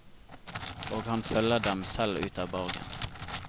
Og han følger dem selv ut av borgen.